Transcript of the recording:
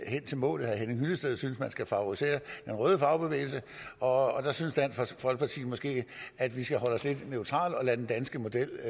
hen til målet herre henning hyllested synes man skal favorisere den røde fagbevægelse og der synes dansk folkeparti måske at vi skal holde os lidt neutrale og lade den danske model